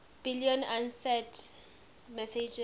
billion usenet messages